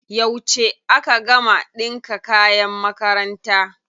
Yauce aka gama ɗinka kayan makaranta?